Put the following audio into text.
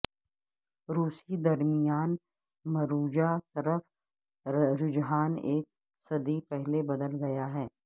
روسی درمیان مروجہ طرف رجحان ایک صدی پہلے بدل گیا ہے